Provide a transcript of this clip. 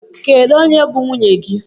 Kedụ onye bụ nwunye gị?